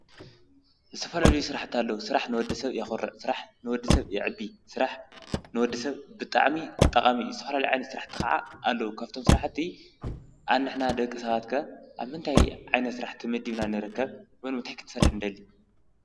ዝተፈላለዩ ስራሕታ ኣለዉ። ስ ራሕ ንወዲ ሰብ የዂረዕ፣ ስራሕ ንወዲ ሰብ የዕቢ፣ ሥራሕ ንወዲ ሰብ ብጣዕሚ ጠቓሚ እዩ። ዝተፈላለየ ዓይነት ሥራሕ ኸዓ ኣለዉ ።ካብቶም ሥራሕቲ ኣንሕና ደቂ ሰባት ከ ኣብ ምንታይ ዓይነት ስራሕ ተመድብና ንርከብ ብምንታይ ክትንሰርሕ ንደሊ?